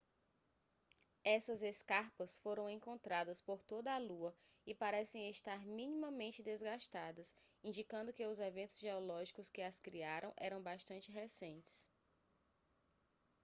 essas escarpas foram encontradas por toda a lua e parecem estar minimamente desgastadas indicando que os eventos geológicos que as criaram eram bastante recentes